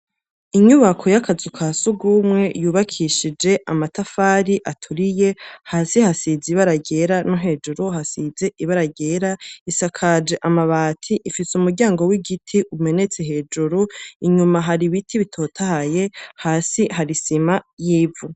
Inyubako y'akazu ka sugumwe yubakishije amatafari aturiye hasi hasize ibara ryera no hejuru hasize ibara ryera. Isakaje amabati. Ifise umuryango w'igiti umenetse hejuru, inyuma hari ibiti bitotahaye. Hasi hari isima y'ivu.